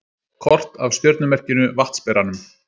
Kort af stjörnumerkinu Vatnsberanum.